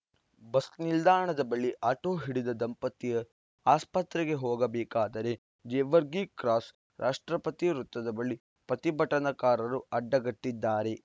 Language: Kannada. ಬಸ್‌ ನಿಲ್ದಾಣದ ಬಳಿ ಆಟೋ ಹಿಡಿದ ದಂಪತಿ ಆಸ್ಪತ್ರೆಗೆ ಹೋಗಬೇಕಾದರೆ ಜೇವರ್ಗಿ ಕ್ರಾಸ್‌ ರಾಷ್ಟ್ರಪತಿ ವೃತ್ತದ ಬಳಿ ಪ್ರತಿಭಟನಾಕಾರರು ಅಡ್ಡಗಟ್ಟಿದ್ದಾರೆ